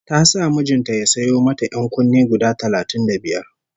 Ta sa mijin ta ya sayo mata ƴan-kunne guda talatin da biyar